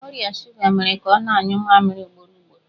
Ọrịa shuga mere ka ọ na-anyụ mamịrị ugboro ugboro.